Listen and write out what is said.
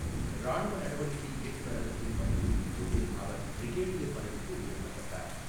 ராணுவ நடவடிக்கை இயக்குநரகத்தில் பணிபுரியும் போது அவர் பிரிகேடியர் பதவிக்கு உயர்த்தப்பட்டார்.